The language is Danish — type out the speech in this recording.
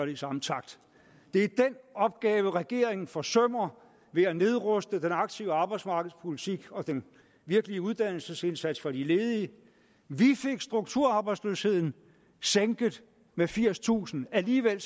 i samme takt det er den opgave regeringen forsømmer ved at nedruste den aktive arbejdsmarkedspolitik og den virkelige uddannelsesindsats for de ledige vi fik strukturarbejdsløsheden sænket med firstusind alligevel